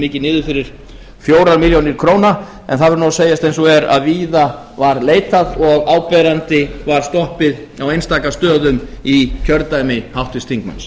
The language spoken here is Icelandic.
mikið niður fyrir fjórum milljónum króna en það verður að segjast eins og er að víða var leitað og áberandi var stoppið á einstaka stöðum í kjördæmi háttvirts þingmanns